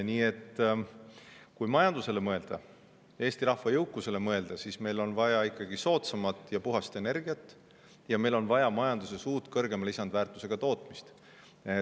Nii et kui majandusele mõelda, Eesti rahva jõukusele mõelda, siis meil on vaja ikkagi soodsamat ja puhast energiat, meil on vaja majanduses uut, kõrgemat lisandväärtust tagavat tootmist.